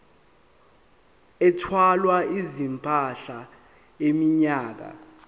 ethwala izimpahla iminyaka